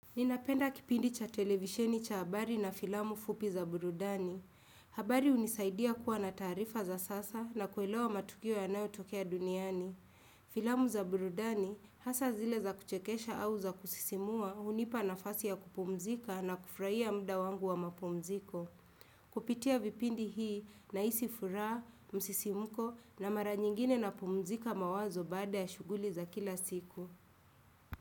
Ninapenda kipindi cha televisheni cha habari na filamu fupi za burudani. Habari unisaidia kuwa na taarifa za sasa na kuelewa matukio ya nayo tokea duniani. Filamu za burudani hasa zile za kuchekesha au za kusisimua unipa nafasi ya kupumzika na kufurahia mda wangu wa mapumziko. Kupitia vipindi hii nahisi furaha, msisimuko na mara nyingine na pumzika mawazo baada ya shughuli za kila siku.